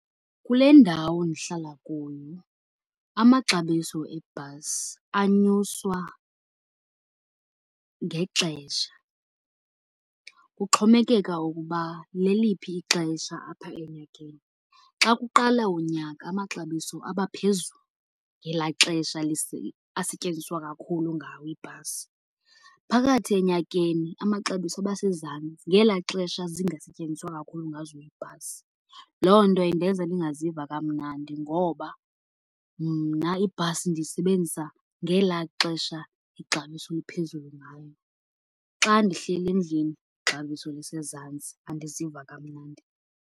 Kule ndawo ndihlala kuyo amaxabiso ebhasi anyuswa ngexesha, kuxhomekeka ukuba leliphi ixesha apha enyakeni. Xa kuqala unyaka amaxabiso abaphezulu, ngelaa xesha asetyenziswa kakhulu ngawo ibhasi. Phakathi enyakeni amaxabiso abasezantsi, ngelaa xesha zingasetyenziswa kakhulu ngazo iibhasi. Loo nto indenza ndingaziva kamnandi ngoba mna ibhasi ndiyisebenzisa ngelaa xesha ixabiso liphezulu ngayo. Xa ndihleli endlini ixabiso lisezantsi, andiziva kamnandi.